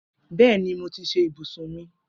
Bẹẹni, Mo ti ṣe ibusun mi.